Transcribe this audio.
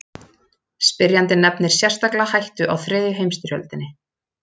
Spyrjandi nefnir sérstaklega hættu á þriðju heimstyrjöldinni.